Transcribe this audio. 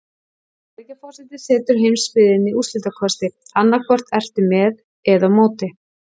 Bandaríkjaforseti setur heimsbyggðinni úrslitakosti: annað hvort ertu með eða á móti.